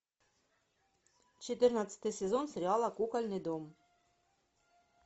четырнадцатый сезон сериала кукольный дом